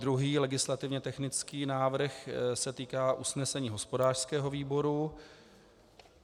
Druhý legislativně technický návrh se týká usnesení hospodářského výboru.